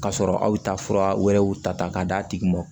K'a sɔrɔ aw ta fura wɛrɛw ta k'a d'a tigi ma